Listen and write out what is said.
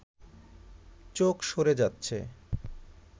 চোখ সরে যাচ্ছে